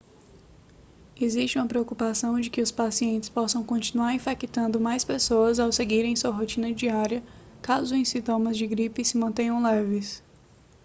existe uma preocupação de que os pacientes possam continuar infectando mais pessoas ao seguirem sua rotina diária caso os sintomas da gripe se mantenham leves